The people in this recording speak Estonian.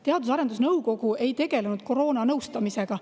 Teadus- ja Arendusnõukogu ei tegelenud koroonanõustamisega.